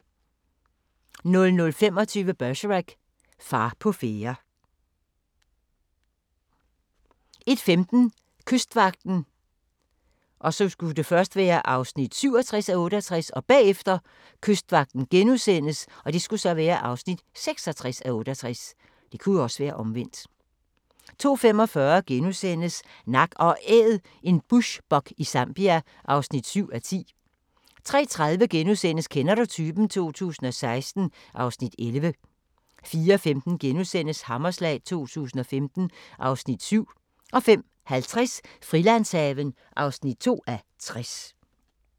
00:25: Bergerac: Far på færde 01:15: Kystvagten (67:68) 02:00: Kystvagten (66:68)* 02:45: Nak & Æd – en bushbuck i Zambia (7:10)* 03:30: Kender du typen? 2016 (Afs. 11)* 04:15: Hammerslag 2015 (Afs. 7)* 05:50: Frilandshaven (2:60)